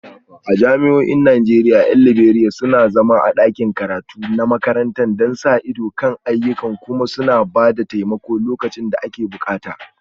A jami'o'in Najeriya 'yan Liberiya suna zama a ɗakin karatu na makaranta don sa ido kan ayyukan kuma suna ba da taimako lokacin da ake bukata